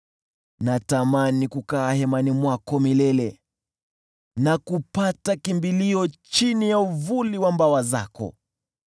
Natamani kukaa hemani mwako milele, na kukimbilia chini ya uvuli wa mbawa zako.